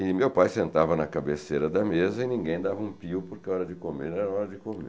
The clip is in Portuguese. E meu pai sentava na cabeceira da mesa e ninguém dava um pio porque hora de comer era hora de comer.